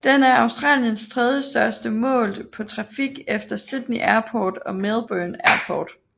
Den er Australiens tredjestørste målt på trafik efter Sydney Airport og Melbourne Airport